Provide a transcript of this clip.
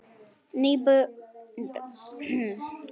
NÝBORG Á FJÓNI,